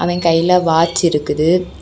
அவன் கையில வாட்ச் இருக்குது.